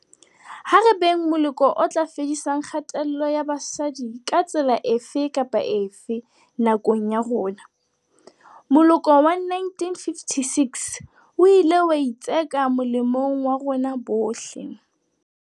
Ha re beng moloko o tla fedisang kgatello ya basadi ka tsela efe kapa efe, nakong ya rona. Moloko wa 1956 o ile wa itseka molemong wa rona bohle.